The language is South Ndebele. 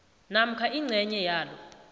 namkha ingcenye yalo